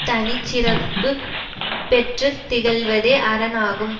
தனிச்சிறப்புப் பெற்று திகழ்வதே அரண் ஆகும்